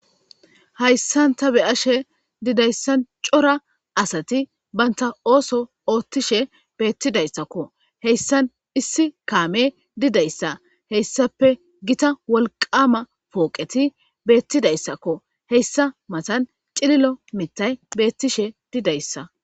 Hyssanta beyashe didayssan cora asati banta ooso oothtishe beettidayssakko heyssan issi kaame didayssa heyssape gita wolqama pooqeti beettidayssakko heyssa matan cililo mittay beettishe didayssa.